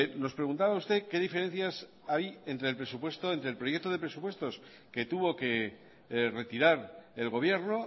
nos preguntaba usted qué diferencias hay entre el presupuesto entre el proyecto de presupuestos que tuvo que retirar el gobierno